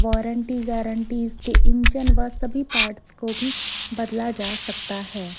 Warranty guarantee इसके engine व सभी पार्ट्स को भी बदला जा सकता है।